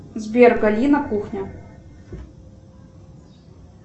сбер галина кухня